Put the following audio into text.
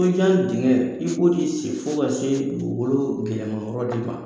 I ka dengɛ i ko de seni fɔ ka se dugukolo gɛlɛyaman yɔrɔ de man